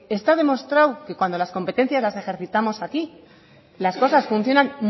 está demostrado que cuando las competencias ejercitamos aquí las cosas funcionan